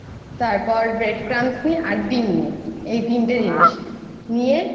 তারপর নিই আর ডিম নিই এই তিনটি জিনিস নিয়ে